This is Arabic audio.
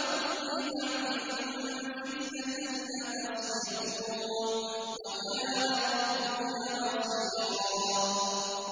بَعْضَكُمْ لِبَعْضٍ فِتْنَةً أَتَصْبِرُونَ ۗ وَكَانَ رَبُّكَ بَصِيرًا